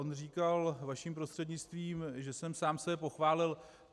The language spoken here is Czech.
On říkal vaším prostřednictvím, že jsem sám sebe pochválil.